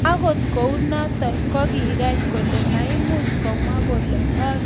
Agot kounoton, koging'any kole maimuch komwa kole ondo kigonyor boroindo age neu noton, ko kitotildo ano.